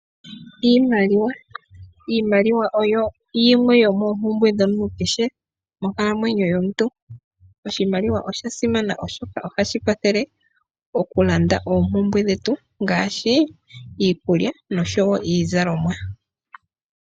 Iimaliwa oyo yimwe yomoompumbwe dhomuntu kehe monkalamwenyo yomuntu. Oshimaliwa osha simana, oshoka ohashi kwathele okulanda oompumbwe dhetu ngaashi iikulya nosho wo iizalomwa.